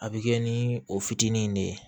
A bɛ kɛ ni o fitinin de ye